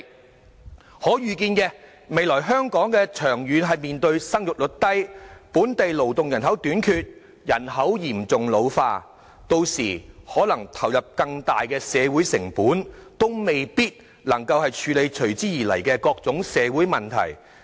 我們可預見，未來香港長遠面對生育率低，本地勞動人口短缺，人口嚴重老化，屆時可能須投入更大的社會成本，也未必能夠處理隨之而來的各種社會問題。